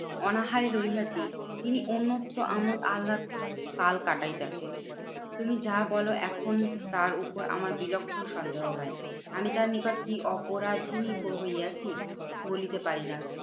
অনাহারে রহিয়াছি। তিনি অন্যত্র আমোদ আল্লাদ কাল কাটাইতাছেন। তুমি যা বলো এখন তার উপর আমার বিলক্ষণ সন্দেহ হয়। আমি তার নিকট কি অপরাধিনী কো হইয়াছি? বলিতে পারিনা।